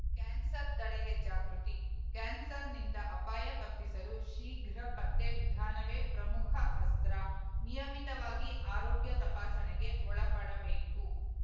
cancer ತಡೆಗೆ ಜಾಗೃತಿ ಕ್ಯಾನ್ಸರ್‌ನಿಂದ ಅಪಾಯ ತಪ್ಪಿಸಲು ಶೀಘ್ರ ಪತ್ತೆ ವಿಧಾನವೇ ಪ್ರಮುಖ ಅಸ್ತ್ರ ನಿಯಮಿತವಾಗಿ ಆರೋಗ್ಯ ತಪಾಸಣೆಗೆ ಒಳಪಡಬೇಕು